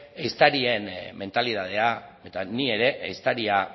ehiztarien mentalitatea eta ni ere ehiztaria